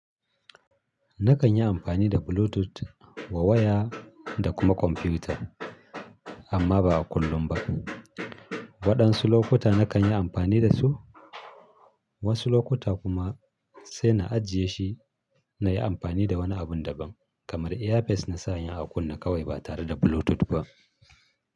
Nakan yi amfani da Bluetooth wa waya da kuma kwamfuta amma ba kullum ba. Waɗansu lokuta nakan yi amfani da su, wasu lokuta kuma sai na ajiye shi na yi amfani da wani abun da ban kamar earpiece na sanya a kunne kawai ba tare da Bluetooth ba.